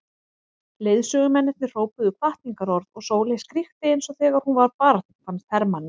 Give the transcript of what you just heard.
Leiðsögumennirnir hrópuðu hvatningarorð og Sóley skríkti eins og þegar hún var barn fannst Hermanni.